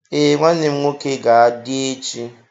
Ee, nwannem nwoke ga-adi echi.